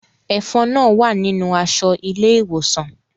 Ẹfọn náà wa ninu aṣọ ile-iwosan.